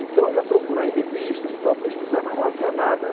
Então eu ia procurar em revistas e tal, pesquisar, mas não havia nada.